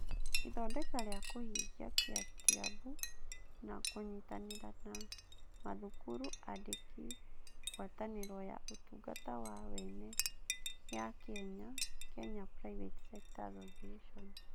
Ithondeka rĩa kũhingia: Kytabu, na kũnyitanĩra na mathukuru, andĩki, Ngwatanĩro ya Ũtungata wa Wene ya Kenya (Kenya Private Sector Association).